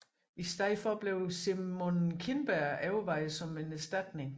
I stedet blev Simon Kinberg overvejet som en erstatning